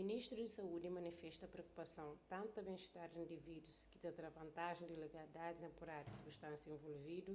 ministru di saúdi manifesta priokupason tantu pa ben-istar di indivídus ki ta tra vantaji di legalidadi tenpuráriu di substánsias involvidu